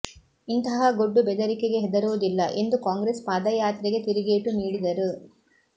ಇಂತಹ ಗೊಡ್ಡು ಬೆದರಿಕೆಗೆ ಹೆದರುವುದಿಲ್ಲ ಎಂದು ಕಾಂಗ್ರೆಸ್ ಪಾದಯಾತ್ರೆಗೆ ತಿರುಗೇಟು ನೀಡಿದರು